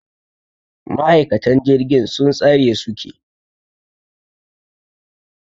Ma'aikatan jirgin sun tsare su ke.